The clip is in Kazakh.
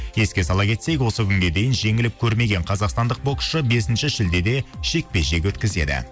еске сала кетсек осы күнге дейін жеңіліп көрмеген қазақстандық боксшы бесінші шілдеде жекпе жек өткізеді